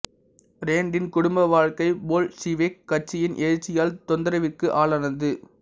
randint குடும்ப வாழ்க்கை Bolshevik கட்சியின் எழுச்சியால் தொந்தரவிற்கு ஆளானது